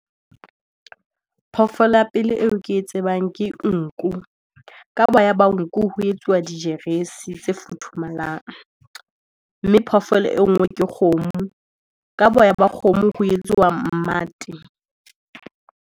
Phoofolo ya pele eo ke e tsebang ke nku, ka boya ba nku ho etsuwa dijeresi tse futhumalang. Mme phoofolo e nngwe ke kgomo, ka boya ba kgomo ho etsuwa mmate.